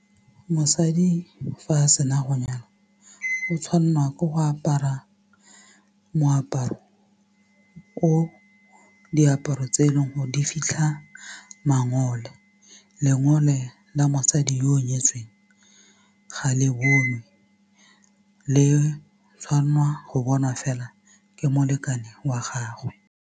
Mosadi fa a sena go nyalwa o tshwanelwa ke go apara diaparo tse eleng gore di fitlha mangole lengole la mosadi yo o nyetsweng ga le bonwe le tshwanelwa go bonwa fela ke molekane wa gagwe.